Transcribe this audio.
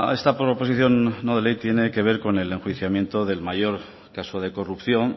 esta proposición no de ley tiene que ver con el enjuiciamiento del mayor caso de corrupción